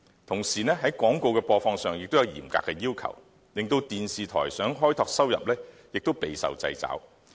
同時，在廣告的播放上也有嚴格的要求，令電視台想開拓收入亦備受掣肘。